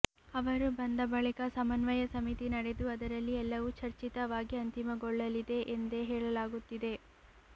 ಅವರು ಬಂದ ಬಳಿಕ ಸಮನ್ವಯ ಸಮಿತಿ ನಡೆದು ಅದರಲ್ಲಿ ಎಲ್ಲವೂ ಚರ್ಚಿತವಾಗಿ ಅಂತಿಮಗೊಳ್ಳಲಿದೆ ಎಂದೇ ಹೇಳಲಾಗುತ್ತಿದೆ